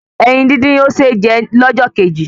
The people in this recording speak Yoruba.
Ẹyin dín dín ò ṣé jẹ lọ́jọ́ kejì